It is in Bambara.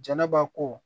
Jɛnɛba ko